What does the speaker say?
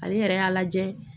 Ale yɛrɛ y'a lajɛ